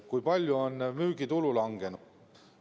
Kui palju on müügitulu langenud?